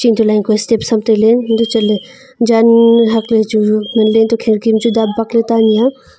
chalang ke step tai le antoh chatle jan hakle ku chu ngan le antoh kherki bu chu dap bak le tanyi a.